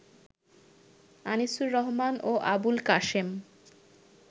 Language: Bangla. আনিসুর রহমান ও আবুল কাশেম